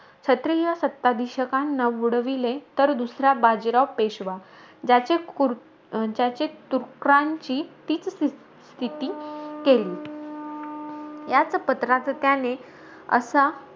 क्षत्रिय सत्ताधीशकांना उडविले, तर दुसरा बाजीराव पेशवा. ज्याचे कृ ज्याचे तुकरांची तीच स्थिती केली. याच पत्राचं त्याने असा,